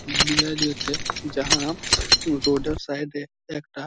মিলায় দিয়েছে যাহা রোড -এর সাইড -এ একটা--